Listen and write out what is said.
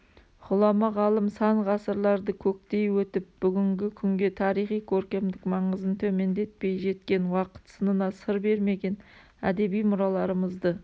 ғұлама ғалым сан ғасырларды көктей өтіп бүгінгі күнге тарихи-көркемдік маңызын төмендетпей жеткен уақыт сынына сыр бермеген әдеби мұраларымызды